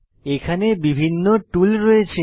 এখানে বিভিন্ন টুল রয়েছে